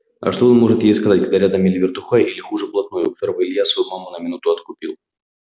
а что он может ей сказать когда рядом или вертухай или хуже блатной у которого илья свою маму на минуту откупил